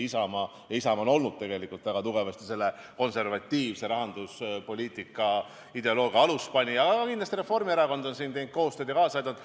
Isamaa on olnud väga tugevasti konservatiivse rahanduspoliitika ideoloogia aluspanija, aga kindlasti on ka Reformierakond teinud siin koostööd ja kaasa aidanud.